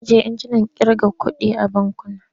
Ana ajiye injinan ƙirga kuɗi a bankuna.